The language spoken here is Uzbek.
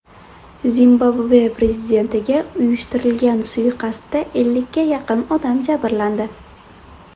Zimbabve prezidentiga uyushtirilgan suiqasdda ellikka yaqin odam jabrlandi.